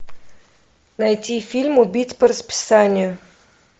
найти фильм убить по расписанию